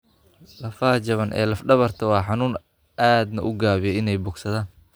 Lafaha jaban ee laf dhabartaada waa xanuun aadna u gaabiya inay bogsadaan.